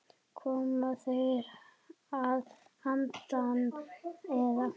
Koma þeir að handan, eða?